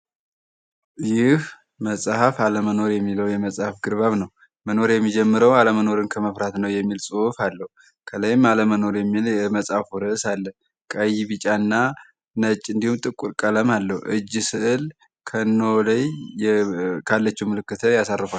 ይህ መጽሐፍ ዓለመኖር የሚለው የመጽሐፍ ግርባብ ነው መኖር የሚጀምረው ዓለመኖርን ከመፍራት ነው የሚል ጽሑፍ አለሁ ከላይም ዓለመኖር የሚለ የመጽሐፍ ውርስ አለ ቃይ ቢጫ እና ነጭ እንዲሁም ጥቁር ቀለም አለሁ እጅ ስዕል ከኖለይ ካለችው ምልክተ ያሳርፋል።